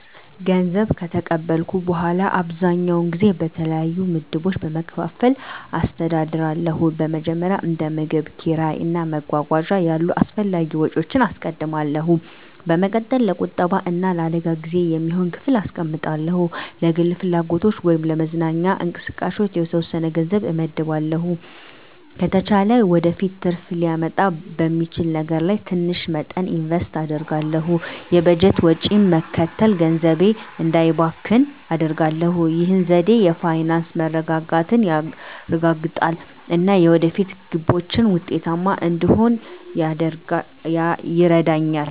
ገንዘብ ከተቀበልኩ በኋላ, አብዛኛውን ጊዜ በተለያዩ ምድቦች በመከፋፈል አስተዳድራለሁ. በመጀመሪያ፣ እንደ ምግብ፣ ኪራይ እና መጓጓዣ ያሉ አስፈላጊ ወጪዎችን አስቀድማለሁ። በመቀጠል፣ ለቁጠባ እና ለአደጋ ጊዜ የሚሆን ክፍል አስቀምጣለሁ። ለግል ፍላጎቶች ወይም ለመዝናኛ እንቅስቃሴዎች የተወሰነ ገንዘብ እመድባለሁ። ከተቻለ ወደፊት ትርፍ ሊያመጣ በሚችል ነገር ላይ ትንሽ መጠን ኢንቨስት አደርጋለሁ። የበጀት ወጪን መከተል ገንዘቤ እንዳይባክን አደርጋሁ። ይህ ዘዴ የፋይናንስ መረጋጋትን ያረጋግጣል እና የወደፊት ግቦችን ውጤታማ እንድሆን ይረዳኛል.